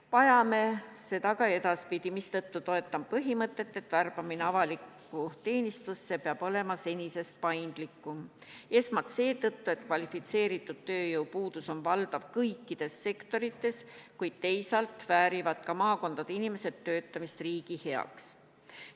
Vajame seda ka edaspidi, mistõttu toetan põhimõtet, et värbamine avalikku teenistusse peab olema senisest paindlikum – esmalt seetõttu, et kvalifitseeritud tööjõu puudus on valdav kõikides sektorites, kuid teisalt väärivad ka maakondade inimesed töötamist riigi heaks.